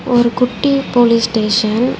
ஒரு குட்டி police station .